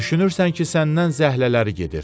Düşünürsən ki səndən zəhlələri gedir.